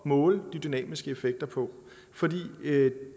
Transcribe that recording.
måle de dynamiske effekter på fordi